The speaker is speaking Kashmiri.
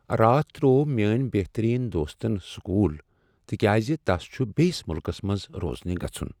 راتھ ترٛوو میٚٲنۍ بہترین دوستن سکوُل تکیاز تس چھٗ بیٚیس مٗلكس منز روزنہِ گژھٗن ۔